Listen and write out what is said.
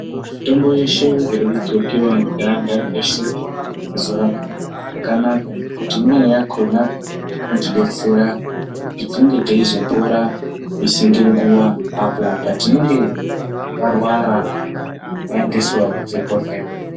Mitombo yeshe iri kudhlokiwa ngeanhanhi eshe mazuwa anaya yakanaka ngekuti imweni yakona inotidetsera kuti tinge teizopora misi nenguwa apo teinge tarwara taendeswa kuchibhehleya.